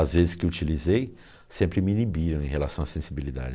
As vezes que utilizei, sempre me inibiram em relação à sensibilidade.